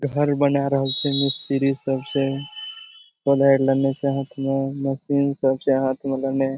घर बनाए रहल छे मिस्तिरी सब से। ओने ले ले छे हाथ में मशीन सब छे हाथ में ले ले।